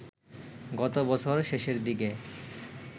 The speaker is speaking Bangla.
গত বছর শেষের দিকে